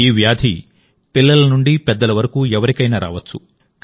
ఈ వ్యాధి పిల్లల నుండి పెద్దల వరకు ఎవరికైనా రావచ్చు